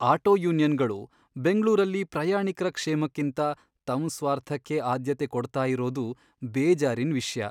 Auto ಯೂನಿಯನ್ಗಳು ಬೆಂಗ್ಳೂರಲ್ಲಿ ಪ್ರಯಾಣಿಕ್ರ ಕ್ಷೇಮಕ್ಕಿಂತ ತಮ್ ಸ್ವಾರ್ಥಕ್ಕೇ ಆದ್ಯತೆ ಕೊಡ್ತಾ ಇರೋದು ಬೇಜಾರಿನ್ ವಿಷ್ಯ.